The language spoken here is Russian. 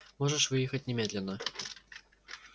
можешь выехать немедленно